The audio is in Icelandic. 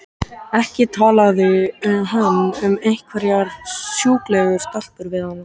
Ekki talaði hann um einhverjar sjúklegar stelpur við hana!